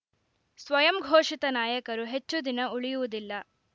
ಸ್ವಯಂ ಘೋಷಿತ ನಾಯಕರು ಹೆಚ್ಟುದಿನ ಉಳಿಯುವುದಿಲ್ಲ